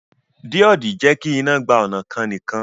Díòdì jẹ́kí iná gba ọnà kan nìkan